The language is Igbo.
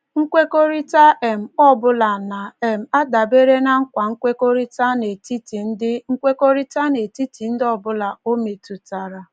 Nkwekọrịta um ọ bụla na - um adabere ná nkwa nkwekọrịta n'etiti ndị nkwekọrịta n'etiti ndị ọ bụla ọ metụtara.